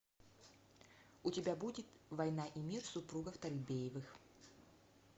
у тебя будет война и мир супругов торбеевых